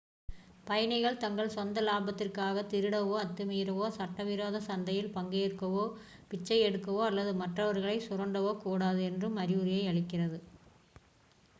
பயணிகள் தங்கள் சொந்த லாபத்திற்காகத் திருடவோ அத்துமீறவோ சட்டவிரோத சந்தையில் பங்கேற்கவோ பிச்சையெடுக்கவோ அல்லது மற்றவர்களைச் சுரண்டவோ கூடாது என்னும் அறிவுரையை அளிக்கிறது